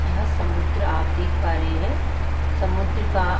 यह समुद्र आप देख पा रहे हैं समुद्र का --